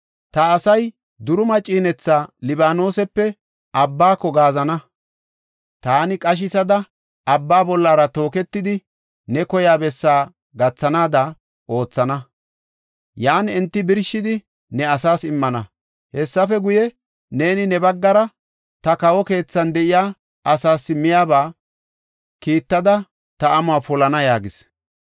Ta asay duruma ciinetha Libaanosepe abbaako gaazana. Taani qashisada, abba bollara tooketidi ne koyiya bessi gathanaada oothana; yan enti birshidi ne asaas immana. Hessafe guye, neeni ne baggara ta kawo keethan de7iya asaas miyaba kiittada ta amuwa polana” yaagis.